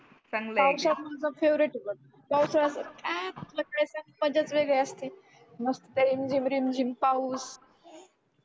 चांगला आहे की पावसाळा तुमचा फेवरेट आहे मज्जाच वेगळी असते मस्त रिमझिम रिमझिम पाऊस